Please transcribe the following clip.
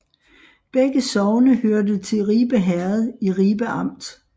Begge sogne hørte til Ribe Herred i Ribe Amt